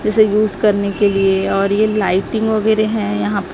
इसे यूज करने के लिए और ये लाइटिंग वगैरह है यहां--